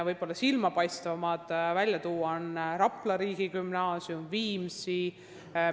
Toon silmapaistvaimatena välja konkursid Rapla ja Viimsi riigigümnaasiumi direktori kohale.